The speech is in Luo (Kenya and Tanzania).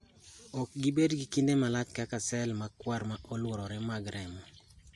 Okgibed gi kinde malach kaka sel makwar ma oluorore mag remo .